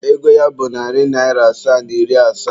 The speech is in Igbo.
Ego ya bụ narị naịra asaa na iri asaa.